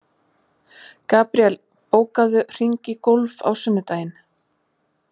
Gabriel, bókaðu hring í golf á sunnudaginn.